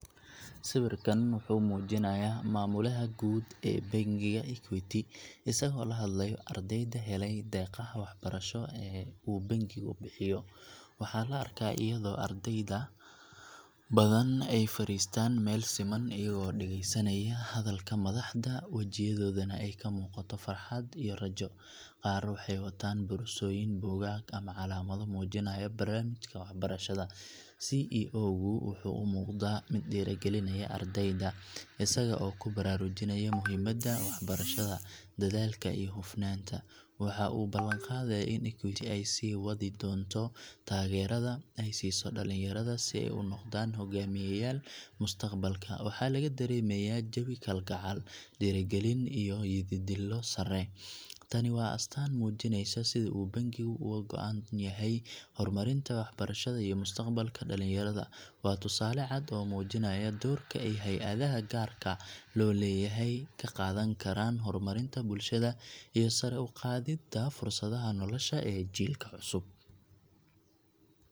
Sawirkan wuxuu muujinayaa Maamulaha Guud ee Bangiga Equity isagoo la hadlayo ardayda helay deeqaha waxbarasho ee uu bangigu bixiyo. Waxaa la arkaa iyadoo arday badan ay fariistaan meel siman, iyagoo dhageysanaya hadalka madaxda, wejiyadoodana ay ka muuqato farxad iyo rajo. Qaar waxay wataan boorsooyin, buugaag ama calaamado muujinaya barnaamijka waxbarashada. CEO gu wuxuu u muuqdaa mid dhiirrigelinaya ardayda, isaga oo ku baraarujinaya muhiimadda waxbarashada, dadaalka iyo hufnaanta. Waxa uu u ballanqaadayaa in Equity ay sii wadi doonto taageerada ay siiso dhalinyarada si ay u noqdaan hoggaamiyayaal mustaqbalka. Waxaa laga dareemayaa jawi kalgacal, dhiirrigelin iyo yididiilo sare. Tani waa astaan muujinaysa sida uu bangigu uga go’an yahay horumarinta waxbarashada iyo mustaqbalka dhalinyarada. Waa tusaale cad oo muujinaya doorka ay hay’adaha gaarka loo leeyahay ka qaadan karaan horumarinta bulshada iyo sare u qaadidda fursadaha nolosha ee jiilka cusub.